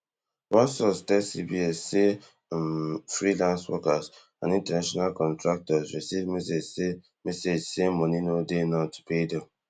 one source tell cbs say all um freelance workers and international contractors receive message say message say money no dey now to pay dem